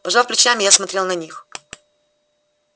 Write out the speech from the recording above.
пожав плечами я смотрел на них